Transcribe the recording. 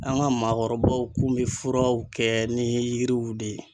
An ka maakɔrɔbaw kun bɛ furaw kɛ ni yiriw de ye.